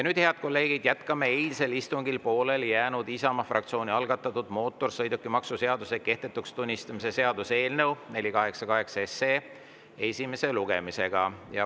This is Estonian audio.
Nüüd, head kolleegid, jätkame eilsel istungil pooleli jäänud, Isamaa fraktsiooni algatatud mootorsõidukimaksu seaduse kehtetuks tunnistamise seaduse eelnõu 488 esimest lugemist.